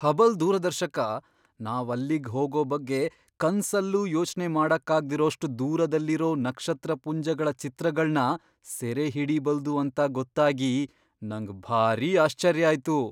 Hubble ದೂರದರ್ಶಕ ನಾವಲ್ಲಿಗ್ ಹೋಗೋ ಬಗ್ಗೆ ಕನ್ಸಲ್ಲೂ ಯೋಚ್ನೆ ಮಾಡಕ್ಕಾಗ್ದಿರೋಷ್ಟ್ ದೂರದಲ್ಲಿರೋ ನಕ್ಷತ್ರಪುಂಜಗಳ ಚಿತ್ರಗಳ್ನ ಸೆರೆಹಿಡೀಬಲ್ದು ಅಂತ ಗೊತ್ತಾಗಿ ನಂಗ್ ಭಾರೀ ಆಶ್ಚರ್ಯ ಆಯ್ತು!